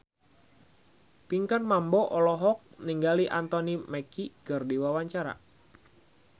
Pinkan Mambo olohok ningali Anthony Mackie keur diwawancara